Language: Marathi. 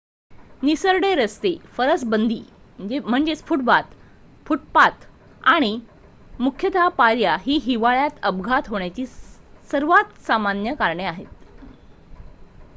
निसरडे रस्ते फरसबंदी फूटपाथ आणि मुख्यतः पायऱ्या ही हिवाळ्यात अपघात होण्याची सर्वात सामान्य कारणे आहेत